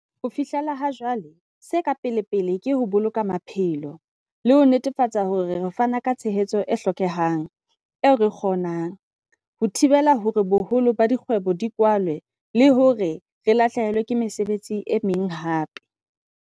Ho fihlela ha jwale, se ka pelepele ke ho boloka maphelo, le ho netefatsa hore re fana ka tshehetso e hlokehang, eo re e kgonang, ho thibela hore boholo ba dikgwebo di kwalwe le hore ha re lahlehelwe ke mesebetsi e meng hape.